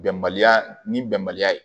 Bɛnbaliya ni bɛnbaliya ye